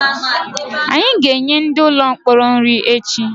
Anyị ga-enye ndị ụlọ mkpọrọ nri echi